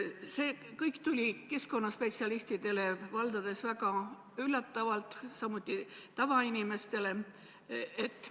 See tuli valdade keskkonnaspetsialistidele ja ka tavainimestele üllatavalt.